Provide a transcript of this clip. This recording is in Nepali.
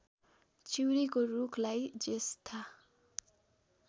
चिउरीको रूखलाई ज्येष्ठा